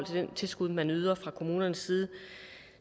det tilskud man yder fra kommunernes side